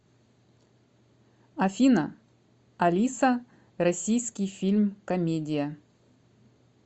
афина алиса российский фильм комедия